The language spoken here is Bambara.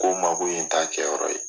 Ko n ma ko ni t'a kɛyɔrɔ ye